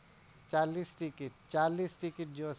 ચાલીશ ticket ચાલીસન ticket